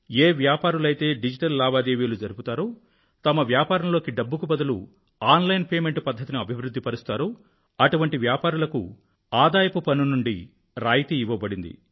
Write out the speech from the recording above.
ఏ వ్యాపారులైతే డిజిటల్ లావాదేవీలు జరుపుతారో తమ వ్యాపారంలో డబ్బుకి బదులు ఆన్ లైన్ పే మెంట్ పధ్ధతిని అభివృధ్ధి పరుస్తారో అటువంటి వ్యాపారులకు ఆదాయపు పన్ను నుండి రాయితీ ఇవ్వబడింది